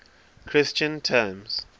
christian terms